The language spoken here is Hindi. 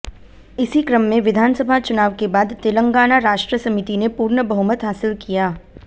इसी क्रम में विधानसभा चुनाव के बाद तेलंगाना राष्ट्र समिति ने पूर्ण बहुमत हासिल किया